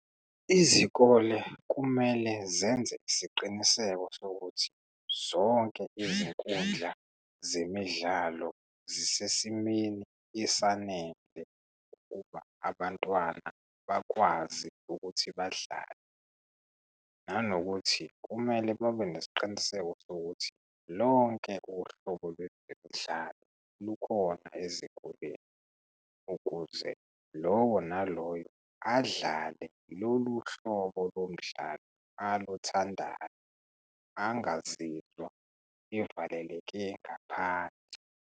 Izikole kumele zenze isiqiniseko sokuthi zonke izinkundla zemidlalo zisesimeni esanele ukuba abantwana bakwazi ukuthi badlale, nanokuthi kumele babe nesiqiniseko sokuthi lonke uhlobo lwezimidlalo lukhona ezikoleni ukuze lowo naloyo adlale lolu hlobo lomdlalo aluthandayo angazizwa evaleleke ngaphandle.